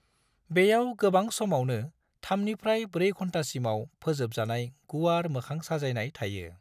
बेयाव गोबां समावनो थामनिफ्राय ब्रै घन्टासिमाव फोजोबजानाय गुवार मोखां साजायनाय थायो।